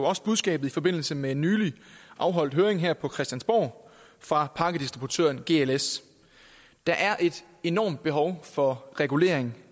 også budskabet i forbindelse med en nylig afholdt høring her på christiansborg fra pakkedistributøren gls der er et enormt behov for regulering